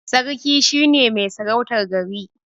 Sarki shine mai sarautar gari.